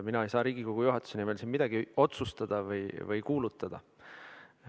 Mina ei saa siin Riigikogu juhatuse nimel midagi otsustada või kuulutada.